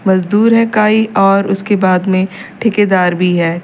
मजदूर है काई और उसके बाद में ठेकेदार भी है।